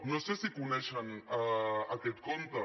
no sé si coneixen aquest conte